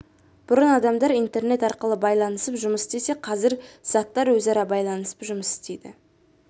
бұрын адамдар интернет арқылы байланысып жұмыс істесе қазір заттар өзара байланысып жұмыс істейді